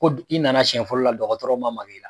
Ko d i nana siɲɛ fɔlɔ la dɔgɔtɔrɔw ma mag'i la